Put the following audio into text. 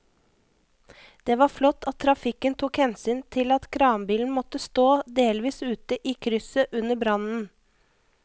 Det var flott at trafikken tok hensyn til at kranbilen måtte stå delvis ute i krysset under brannen.